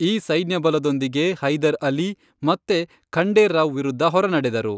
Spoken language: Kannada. ಈ ಸೈನ್ಯ ಬಲದೊಂದಿಗೆ ಹೈದರ್ ಅಲಿ ಮತ್ತೆ ಖಂಡೇ ರಾವ್ ವಿರುದ್ಧ ಹೊರನಡೆದರು.